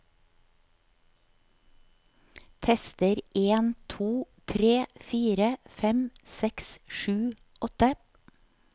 Tester en to tre fire fem seks sju åtte